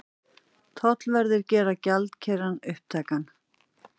Tollverðir gera gjaldeyrinn upptækan